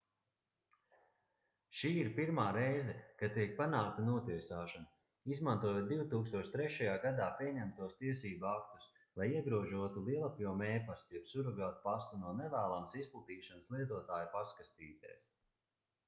šī ir pirmā reize kad tiek panākta notiesāšana izmantojot 2003. gadā pieņemtos tiesību aktus lai iegrožotu lielapjoma e-pastu jeb surogātpastu no nevēlamas izplatīšanas lietotāju pastkastītēs